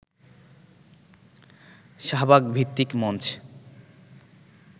শাহবাগ-ভিত্তিক মঞ্চ